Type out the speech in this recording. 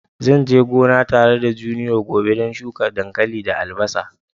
Zan je gona tare da junior gobe don shuka dankali da albasa.